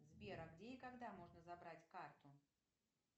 сбер а где и когда можно забрать карту